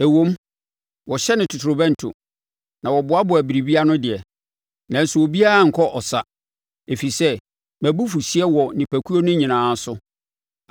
“ ‘Ɛwom, wɔhyɛne totorobɛnto, na wɔboaboa biribiara ano deɛ, nanso obiara renkɔ ɔsa, ɛfiri sɛ mʼabufuhyeɛ wɔ nnipakuo no nyinaa so.